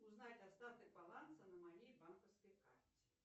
узнать остаток баланса на моей банковской карте